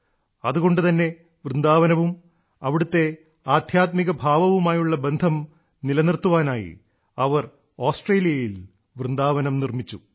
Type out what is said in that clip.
അതുകൊണ്ടുതന്നെ വൃന്ദാവനവും അവിടത്തെ ആദ്ധ്യാത്മിക ഭാവവുമായുള്ള ബന്ധം നിലനിർത്തുവാനായി അവർ ഓസ്ട്രേലിയയിൽ വൃന്ദാവനം നിർമ്മിച്ചു